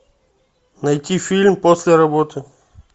найти фильм после работы